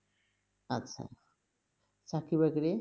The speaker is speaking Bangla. আচ্ছা। চাকরি-বাকরি?